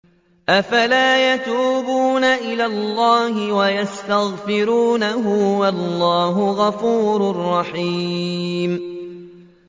أَفَلَا يَتُوبُونَ إِلَى اللَّهِ وَيَسْتَغْفِرُونَهُ ۚ وَاللَّهُ غَفُورٌ رَّحِيمٌ